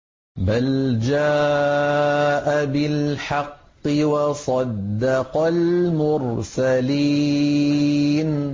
بَلْ جَاءَ بِالْحَقِّ وَصَدَّقَ الْمُرْسَلِينَ